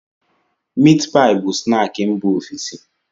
Miit paị bụ snaakị mba ofesi.